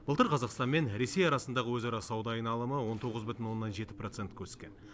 былтыр қазақстан мен ресей арасындағы өзара сауда айналымы он тоғыз бүтін оннан жеті процентке өскен